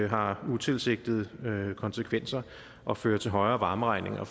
har utilsigtede konsekvenser og fører til højere varmeregninger